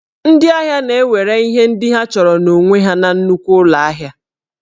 Ndị ahịa na-ewere ihe ndị ha chọrọ n'onwe ha na nnukwu ụlọ ahịa